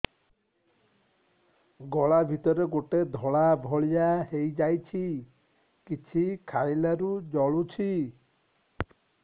ଗଳା ଭିତରେ ଗୋଟେ ଧଳା ଭଳିଆ ହେଇ ଯାଇଛି କିଛି ଖାଇଲାରୁ ଜଳୁଛି